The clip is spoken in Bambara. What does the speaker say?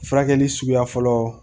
Furakɛli suguya fɔlɔ